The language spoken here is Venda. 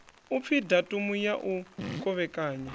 upfi datumu ya u kovhekanya